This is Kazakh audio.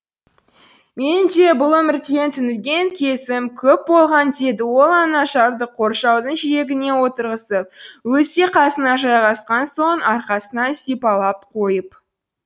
менің де бұл өмірден түңілген кезім көп болған деді ол анажарды қоршаудың жиегіне отырғызып өзі де қасына жайғасқан соң арқасынан сипалап қойып